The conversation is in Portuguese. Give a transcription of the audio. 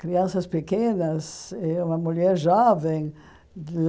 Crianças pequenas e uma mulher jovem.